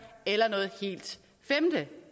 eller noget helt femte